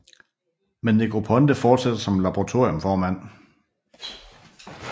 Men Negroponte fortsætter som laboratorium formand